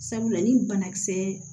Sabula ni banakisɛ